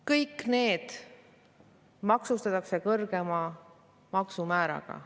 Kõik need maksustatakse kõrgema maksumääraga.